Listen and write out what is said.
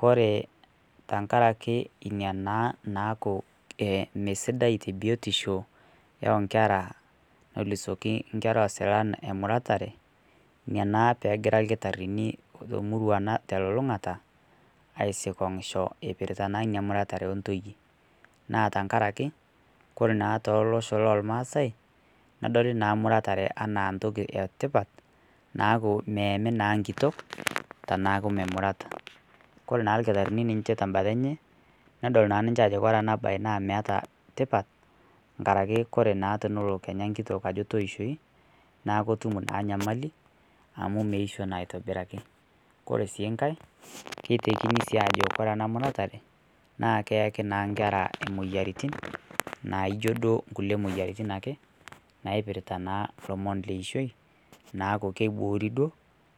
Kore tang'araki enia naa naaku ee mesidai te biotisho o nkeraa nulusiake nkerra osilan emuratare. Enia naa pee egira lkitaarini emurrua ana te tololung'ata asikong'ushoo epiirita naa enia muratare e ntoiyee, naa tang'araki kore naa tolosho lo maasai nedooli naa muratare ena ntoki etipaat naaku meamii naa nkitook tanaaku memurata. Kore naa lkitaarini ninye tebaata enchee nedool naa ninchee ajo kore ena bayi na meeta ntipaat ng'araki kore tenoloo naa kenya nkitook ajoo tiishoi naa ketuum naa nyamali amu meishoo naa aitobirakii. Ore sii nkaai ketekinii sii ajoo kore ana muratare naa keaki naa nkerra emoyiaritin naa ijoo doo nkulee moyiaritin ake naipiritaa naa lomoom lo ishooi. Naaku keiboori doo